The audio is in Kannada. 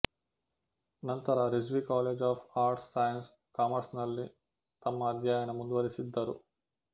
ನಂತರ Rizvi college of arts science ಕಾಮರ್ಸ್ನಲ್ಲಿ ತಮ್ಮ ಅಧ್ಯಯನ ಮುಂದುವರಿಸಿದ್ದರು